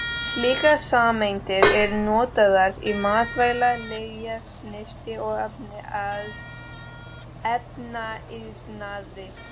Slíkar sameindir eru notaðar í matvæla-, lyfja-, snyrti- og efnaiðnaði.